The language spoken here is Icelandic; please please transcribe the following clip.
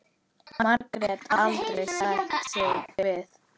Margrét aldrei sætta sig við.